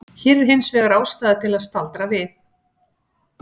Hér er hins vegar ástæða til að staldra við.